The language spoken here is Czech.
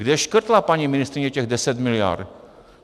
Kde škrtla paní ministryně těch 10 mld.?